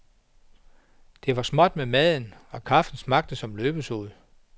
Det var småt med maden, og kaffen smagte som løbesod.